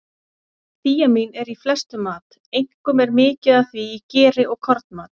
Þíamín er í flestum mat, einkum er mikið af því í geri og kornmat.